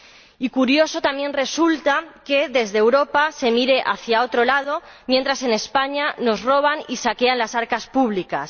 Y curioso también resulta que desde Europa se mire hacia otro lado mientras en España nos roban y saquean las arcas públicas.